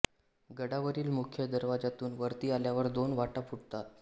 गडावरील मुख्य दरवाज्यातून वरती आल्यावर दोन वाटा फुटतात